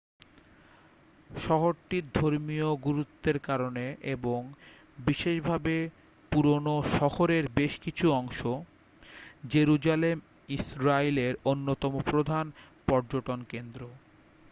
শহরটির ধর্মীয় গুরুত্বের কারণে এবং বিশেষভাবে পুরনো শহরের বেশকিছু অংশ জেরুজালেম ইসরাইলের অন্যতম প্রধান পর্যটন কেন্দ্র